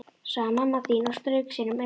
sagði mamma þín og strauk sér um augun.